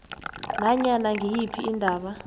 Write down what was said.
nanyana ngiyiphi indaba